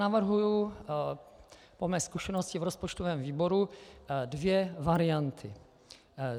Navrhuji po své zkušenosti v rozpočtovém výboru dvě varianty.